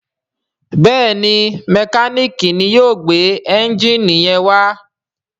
Béèni Mẹkáníìkì yóò gbé Ẹ́ńjìnì yén wá.